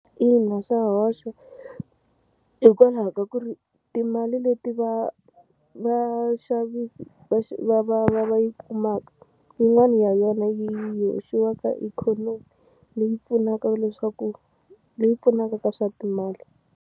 Ina swa hoxa hikwalaho ka ku ri timali leti va va vaxavisi va va va va yi kumaka yin'wani ya yona yi hoxiwa ka ikhonomi leyi pfunaka leswaku leyi pfunaka ka swa timali.